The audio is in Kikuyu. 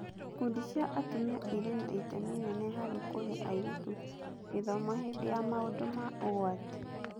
Ikundi cia atumia irĩ na itemi inene harĩ kũhe airĩtu gĩthomo hĩndĩ ya maũndũ ma ũgwati.